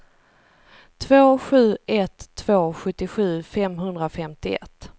två sju ett två sjuttiosju femhundrafemtioett